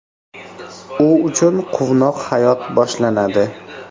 U uchun quvnoq hayot boshlanadi.